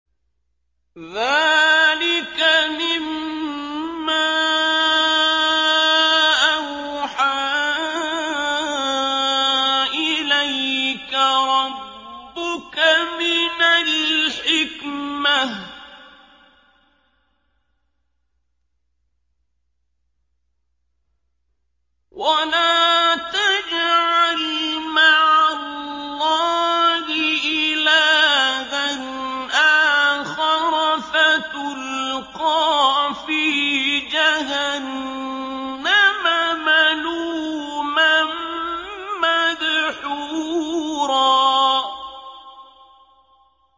ذَٰلِكَ مِمَّا أَوْحَىٰ إِلَيْكَ رَبُّكَ مِنَ الْحِكْمَةِ ۗ وَلَا تَجْعَلْ مَعَ اللَّهِ إِلَٰهًا آخَرَ فَتُلْقَىٰ فِي جَهَنَّمَ مَلُومًا مَّدْحُورًا